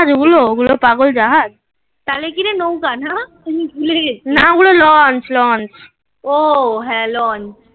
জাহাজ ওগুলো ওগুলো পাগল জাহাজ. তাহলে কি রে নৌকা না? তুমি ভুলে গেছো. না ওগুলো lounch, launch ও হ্যাঁ lounch